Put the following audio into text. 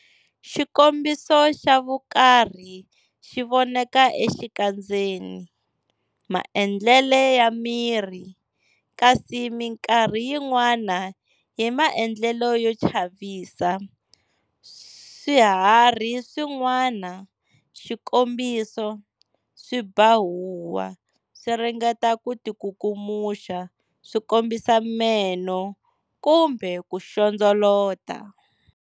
Xikombiso xa vukarhi xivoneka exikandzeni, maendlele ya miri, kasi minkarhi yin'wana hi maendlelo yo chavisa. Swiharhi swin'wana, xikombiso, swi ba huwa, swiringeta ku ti kukumuxa, swi kombisa meno, kumbe ku xondzolota.